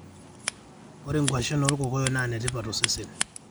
ore nkuashen olkokoyo naa netipat tosesen